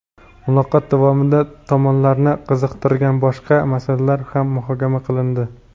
Muloqot davomida tomonlarni qiziqtirgan boshqa masalalar ham muhokama qilindi.